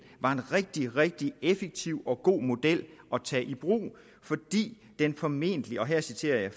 var en rigtig rigtig effektiv og god model at tage i brug fordi den formentlig og her citerer jeg